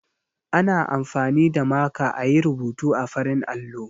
Ana amfani da maka a yi rubutu a farin allo.